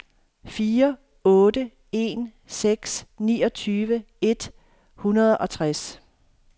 fire otte en seks niogtyve et hundrede og tres